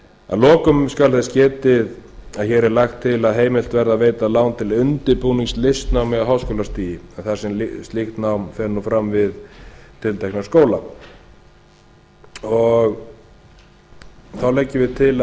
að lokum skal þess getið að hér er lagt til að heimilt verði að veita lán til undirbúnings listnámi á háskólastigi þar sem slíkt nám fer nú fram við tiltekna skóla þá leggjum við til